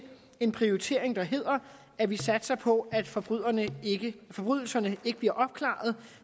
en prioritering der hedder at vi satser på at forbrydelserne forbrydelserne ikke bliver opklaret